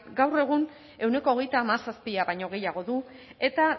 gaur egun ehuneko hogeita hamazazpia baino gehiago du eta